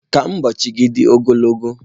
Ka ụbọochị gị dị ogologo.